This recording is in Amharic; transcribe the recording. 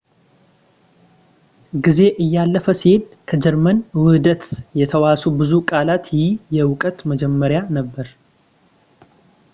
ጊዜ እያለፈ ሲሄድ ከጀርመን ውህደት የተዋሱ ብዙ ቃላት ይህ የእውቀት መጀመሪያ ነበር